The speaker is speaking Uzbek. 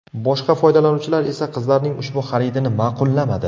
Boshqa foydalanuvchilar esa qizlarning ushbu xaridini ma’qullamadi.